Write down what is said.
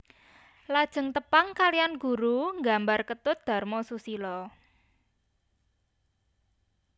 Lajeng tepang kalihan guru nggambar Ketut Dharma Susila